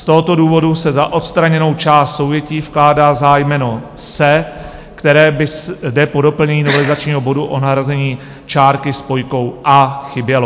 Z tohoto důvodu se za odstraněnou část souvětí vkládá zájmeno "se", které by zde po doplnění novelizačního bodu o nahrazení čárky spojkou "a" chybělo.